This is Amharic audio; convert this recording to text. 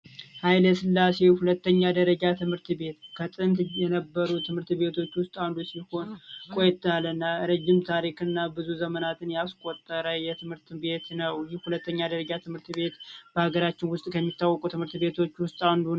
ሃይለስላሴ አንደኛ ደረጃ ትምህርት ቤት ከጥንት ከነበሩት ትምህርት ቤቶች ውስጥ አንዱ ሲሆን ቆየት ያለና ረጅም ጊዜ ወይም ብዙ ዘመናትን ያስቆጠረ ትምህርት ቤት ነው፤ ይህ አንደኛ ደረጃ ትምህርት ቤት በሀገራችን ከሚታወቁት ትምህርት ቤቶች ውስጥ አንዱ ነው።